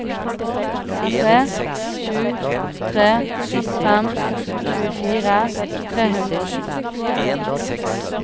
tre sju tre fem tjuefire tre hundre og sju